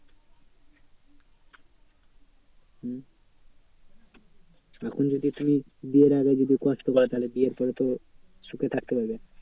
হম এখন যদি তুমি বিয়ের আগে যদি কষ্ট পাও, তাহলে বিয়ের পরে তো সুখে থাকতে পারবে।